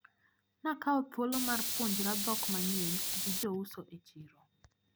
Nakawo thuolo mar puonjra dhok manyien gi jouso e chiro.